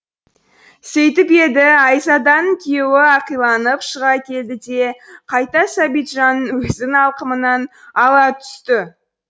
сөйтіп еді айзаданың күйеуі ақиланып шыға келді де қайта сәбитжанның өзін алқымынан ала түсті